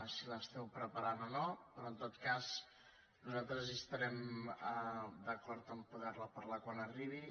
l’esteu preparant o no però en tot cas nosaltres hi estarem d’acord a po·der·ne parlar quan arribi